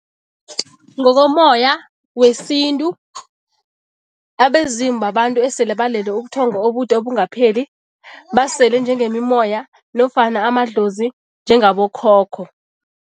Ngokomoya wesintu, abezimu babantu esele balele ubuthongo obude obungapheli, basele njengemimoya nofana amadlozi njengabokhokho.